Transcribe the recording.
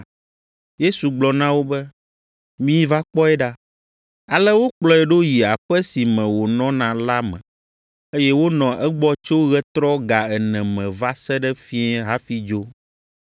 Yesu gblɔ na wo be, “Miva kpɔe ɖa.” Ale wokplɔe ɖo yi aƒe si me wònɔna la me, eye wonɔ egbɔ tso ɣetrɔ ga ene me va se ɖe fiẽ hafi dzo.